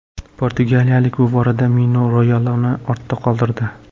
Portugaliyalik bu borada Mino Rayolani ortda qoldirdi.